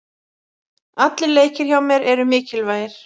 Allir leikir hjá mér eru mikilvægir.